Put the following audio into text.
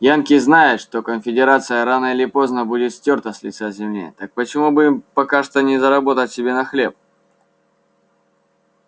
янки знают что конфедерация рано или поздно будет стёрта с лица земли так почему бы им пока что не заработать себе на хлеб